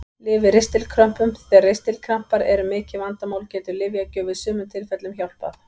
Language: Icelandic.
Lyf við ristilkrömpum Þegar ristilkrampar eru mikið vandamál getur lyfjagjöf í sumum tilfellum hjálpað.